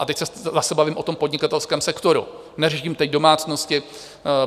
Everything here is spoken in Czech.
A teď se zase bavím o tom podnikatelském sektoru, neřeším teď domácnosti.